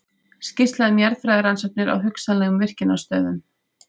Skýrsla um jarðfræðirannsóknir á hugsanlegum virkjunarstöðum.